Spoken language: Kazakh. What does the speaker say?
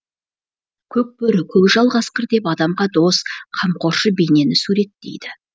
көк бөрі көкжал қасқыр деп адамға дос қамқоршы бейнені суреттейді